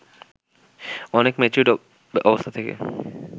অনেক ম্যাচিউরড অবস্থা থেকে